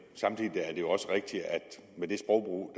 samtidig er det jo også rigtigt at den sprogbrug